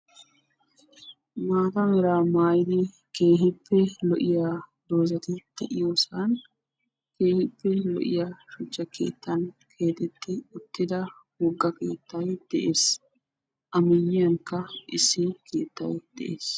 Maata mera mayyiddi keehippe lo"iyaa dozati de'iyoossan keehippe lo"iya shuchcha keettan keexetti uttida keettay de'ees.A miyiyyankka issi keettay de'ees.